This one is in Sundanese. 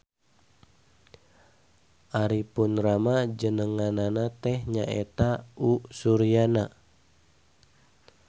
Ari pun rama jenenganana teh nyaeta U.Suryana.